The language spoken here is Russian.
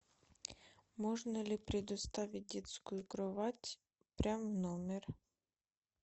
можно ли предоставить детскую кровать прямо в номер